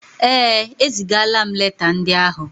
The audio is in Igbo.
Ee, ezigaala m leta ndị áhụ̀.